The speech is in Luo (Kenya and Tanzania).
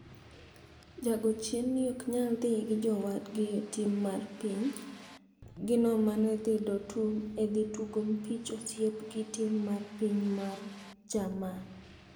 Jago chien ni ok nyal dhi gi jowadgi e tim mar piny gi no manedhi Dortmund e dhi tugo mpich osiep gi tim mar piny mar Jerman.